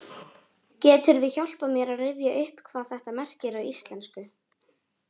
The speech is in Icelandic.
Geturðu hjálpað mér að rifja upp hvað þetta merkir á íslensku?